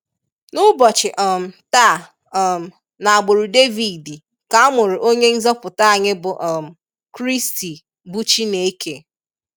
N'ubochi um taa um na agburu David ka amụrụ onye nzoputa anyi bu um christi bu Chineke.